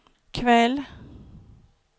kväll